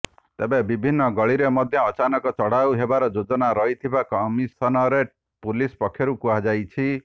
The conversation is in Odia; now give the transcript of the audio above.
ତେବେ ବିଭିନ୍ନ ଗଳିରେ ମଧ୍ୟ ଅଚାନକ ଚଢ଼ଉ ହେବାର ଯୋଜନା ରହିଥିବା କମିସନରେଟ୍ ପୁଲିସ ପକ୍ଷରୁ କୁହାଯାଇଛି